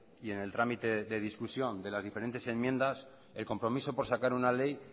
y en el trámite de discusión de las diferentes enmiendas el compromiso por sacar una ley